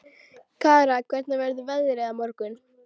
Kara, hvernig verður veðrið á morgun?